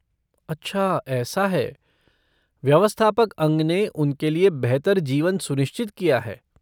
अच्छा ऐसा है! व्यवस्थापक अंग ने उनके लिए बेहतर जीवन सुनिश्चित किया है!